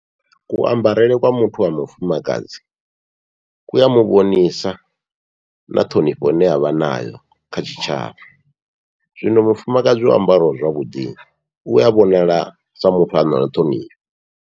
Kuambarele kwa muthu wa mufumakadzi ku a muvhonisa na ṱhonifho ine avha nayo kha tshitshavha, zwino mufumakadzi o ambaraho zwavhuḓi ua vhonala sa muthu ano ṱhonifha.